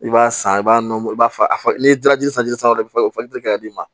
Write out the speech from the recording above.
I b'a san i b'a nɔrɔ i b'a fɔ a n'i ye daraji sanfɛ dɔrɔn i bɛ ka d'i ma